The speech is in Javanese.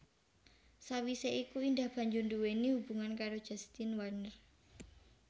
Sawisé iku Indah banjur nduwéni hubungan karo Justin Werner